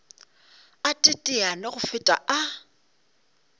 a teteane go feta a